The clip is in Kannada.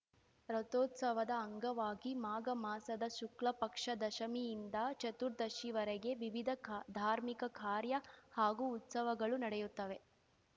ರಥೋತ್ಸವದ ಅಂಗವಾಗಿ ಮಾಘ ಮಾಸದ ಶುಕ್ಲಪಕ್ಷ ದಶಮಿಯಿಂದ ಚತುರ್ದಶಿವರೆಗೆ ವಿವಿಧ ಕಾ ಧಾರ್ಮಿಕ ಕಾರ್ಯ ಹಾಗೂ ಉತ್ಸವಗಳು ನಡೆಯುತ್ತವೆ